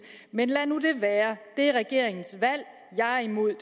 man lad nu det være det er regeringens valg jeg er imod